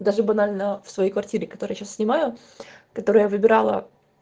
даже банально в своей квартире которая сейчас снимаю которую я выбыирала